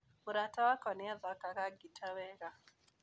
Mũrata wakwa nĩ athakaga ngita wega.